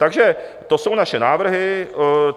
Takže to jsou naše návrhy.